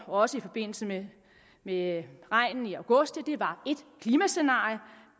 også i forbindelse med med regnen i august var et klimascenarie